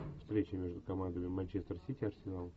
встреча между командами манчестер сити арсенал